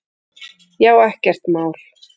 Já, ekkert mál!